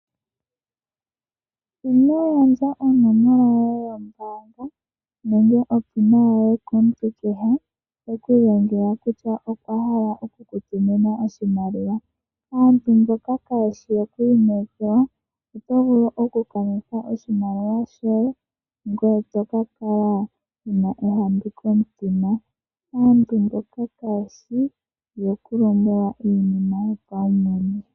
Ino gandja onomola yoye yombaanga nenge onomola yoye yopaumwene yomehola komuntu kehe e ku lombwela kutya okwa hala oku ku tumina oshimaliwa. Aantu mboka kaye shi yoku inekelwa, oto vulu okukanitha oshimaliwa shoye ngoye to ka kala wu na ongeyo komutima. Aantu mboka kaye shi yokulombwelwa iinima yopaumwene.